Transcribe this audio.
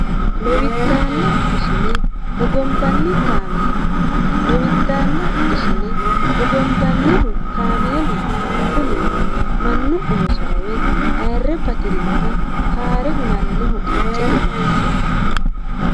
Lowidaanna ishine hogombanni kaameella. Lowidaanna ishine hogombannihu kaameeluno Kunnino manu oosora woyi ayire batirinoha haare hunnanoho qacete Mase.